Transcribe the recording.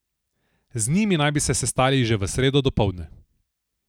Z njimi naj bi se sestali že v sredo dopoldne.